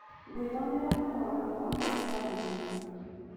gwĩthomera marũa makwa ma kwaranĩria